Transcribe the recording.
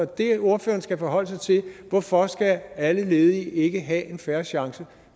det ordføreren skal forholde sig til er hvorfor skal alle ledige ikke have en fair chance